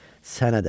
Sənə də.